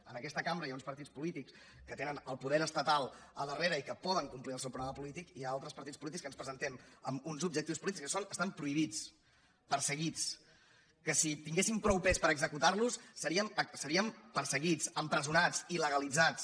en aquesta cambra hi ha uns partits polítics que tenen el poder estatal al darrere i que poden complir el seu programa polític i hi ha altres partits polítics que ens presentem amb uns objectius polítics que estan prohibits perseguits que si tinguéssim prou pes per executar los seríem perseguits empresonats il·legalitzats